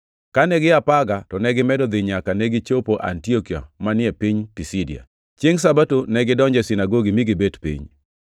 Kane gia Perga, to negimedo dhi nyaka negichopo Antiokia manie piny Pisidia. Chiengʼ Sabato negidonjo e sinagogi mi gibet piny.